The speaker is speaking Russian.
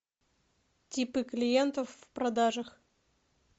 типы клиентов в продажах